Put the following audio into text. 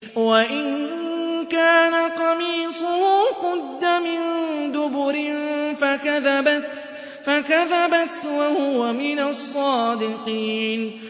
وَإِن كَانَ قَمِيصُهُ قُدَّ مِن دُبُرٍ فَكَذَبَتْ وَهُوَ مِنَ الصَّادِقِينَ